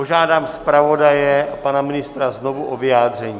Požádám zpravodaje a pana ministra znovu o vyjádření.